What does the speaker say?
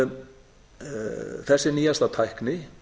kviðarholsaðgerðir þessi nýjasta tækni